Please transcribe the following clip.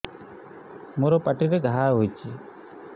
ମୋର ପାଟିରେ ଘା ହେଇଚି